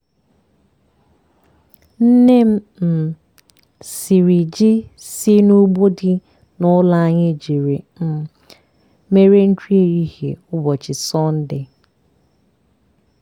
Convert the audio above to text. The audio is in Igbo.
nne m um siri ji si n'ugbo dị n'ụlọ anyị jiri um mere nri ehihie ụbọchị sọnde.